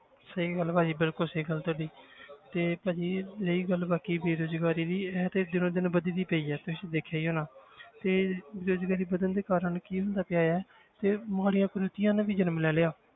ਸਹੀ ਗੱਲ ਆ ਭਾਜੀ ਬਿਲਕੁਲ ਸਹੀ ਗੱਲ ਹੈ ਤੁਹਾਡੀ ਤੇ ਭਾਜੀ ਰਹੀ ਗੱਲ ਬਾਕੀ ਬੇਰੁਜ਼ਗਾਰੀ ਦੀ ਇਹ ਤੇ ਦਿਨੋਂ ਦਿਨ ਵੱਧਦੀ ਪਈ ਹੈ ਤੁਸੀਂ ਦੇਖਿਆ ਹੀ ਹੋਣਾ ਤੇ ਬੇਰੁਜ਼ਗਾਰੀ ਵੱਧਣ ਦੇ ਕਾਰਨ ਕੀ ਹੁੰਦਾ ਪਿਆ ਹੈ ਤੇ ਮਾੜੀਆਂ ਕੁਰੀਤੀਆਂ ਨੇ ਵੀ ਜਨਮ ਲੈ ਲਿਆ